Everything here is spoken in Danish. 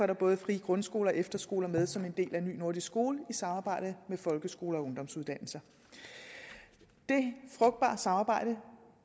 der både frie grundskoler og efterskoler med som en del af ny nordisk skole i samarbejde med folkeskolen og ungdomsuddannelser det frugtbare samarbejde